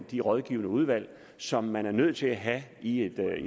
de rådgivende udvalg som man er nødt til at have i et